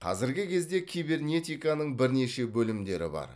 қазіргі кезде кибернетиканың бірнеше бөлімдері бар